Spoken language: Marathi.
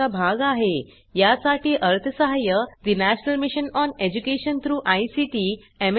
यासाठी अर्थसहाय्य national mission on education through ICT MHRD government of India यांच्याकडून मिळालेले आहे